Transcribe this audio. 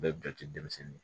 Bɛɛ bɛ jate denmisɛnnin ye